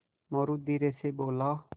मोरू धीरे से बोला